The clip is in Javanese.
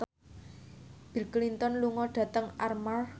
Bill Clinton lunga dhateng Armargh